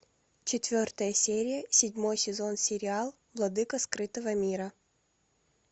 четвертая серия седьмой сезон сериал владыка скрытого мира